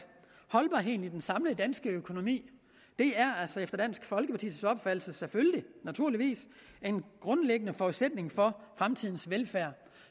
holdbarheden i den samlede danske økonomi efter dansk folkepartis opfattelse selvfølgelig naturligvis er en grundlæggende forudsætning for fremtidens velfærd